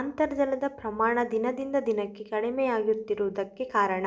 ಅಂತರ್ಜಲದ ಪ್ರಮಾಣ ದಿನದಿಂದ ದಿನಕ್ಕೆ ಕಡಿಮೆಯಾಗುತ್ತಿರುವುದಕ್ಕೆ ಕಾರಣ